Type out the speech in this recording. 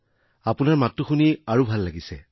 আপোনাৰ মাতটো শুনি আৰু ভাল লাগিছে